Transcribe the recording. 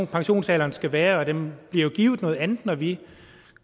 pensionsalderen skal være og den bliver jo givet noget andet når vi